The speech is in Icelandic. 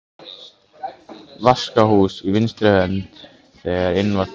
Vaskahús á vinstri hönd þegar inn var komið.